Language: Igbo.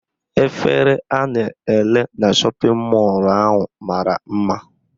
Efere ha na-ere na shọpịn mọlụ ahụ mara mma.